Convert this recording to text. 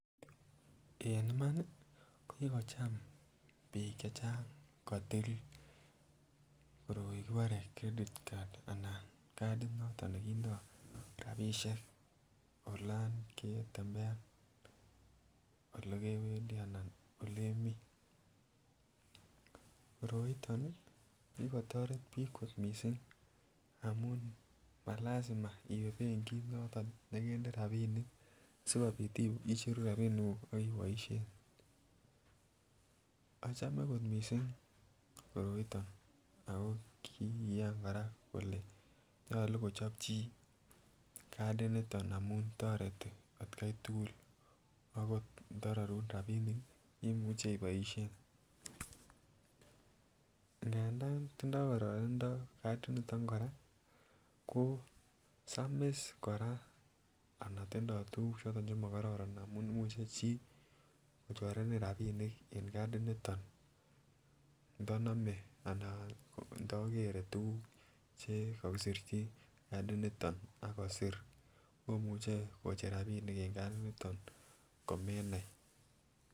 En iman ii kigocham biik che chang kotil koroi kibore credit card anan kadit noton negindoo rapisyek olon ketembean olegeweendii anan olemii, koroiton ii kigotoret biik kot mising amun ma lazima iwee pengit noton neginde rabinik sigobiit icheruu rabinik guuk ak iboisien, pause ochome kot mising koroiton ago kigiiyan kora kole nyolu kochob chii cadit niton amun toretii at kai tugul agot ndo rorun rabinik imuche iboisien, ngandan tindo kororindo cadit niton koraa, ko samis koraa anan tundo tuguk choton chemogororon amun imuche chii kochorenin rabinik en cadit niton ndonome anan agot ndo tuguk chegogisirji cadit niton ak kosir komuche kocher rabinik en cadit niton komenai